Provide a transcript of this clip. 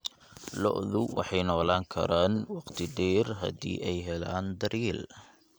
Lo'du waxay noolaan karaan waqti dheer haddii ay helaan daryeel.